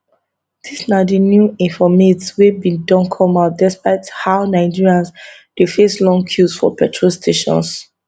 dis na di new informate wey don come out despite how nigerians dey face long queues for petrol stations